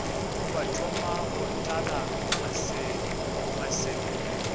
ba thoma go tlala maseme